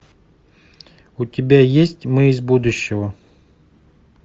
у тебя есть мы из будущего